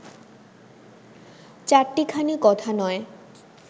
চাট্টিখানি কথা নয়